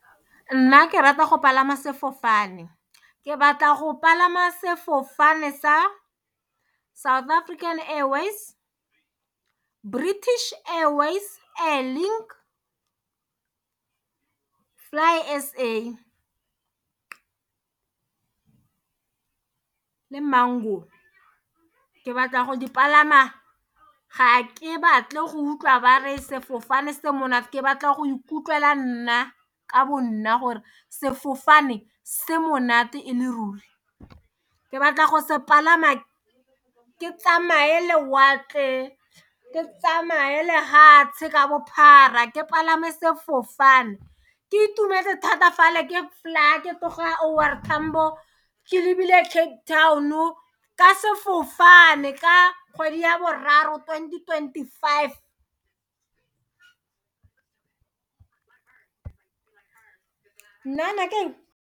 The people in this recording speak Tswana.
Nna ke rata go palama sefofane ke batla go palama sefofane sa South African Airways, waves British Airways, Link flight SA, le Mango ke batla go di palama ga ke batle go utlwa ba re sefofane se monate ke batla go ikutlwa nna ka bo nna gore sefofane se monate e le ruri ke batla go se palama ke tsamaye lewatle ke tsamaye lehatshe ka bophara ke palame sefofane ke itumetse thata fela ke flyer ke tloga O R Tambo ke lebile Cape Town ka sefofane ka kgwedi ya boraro twenty twenty-five nnana keng.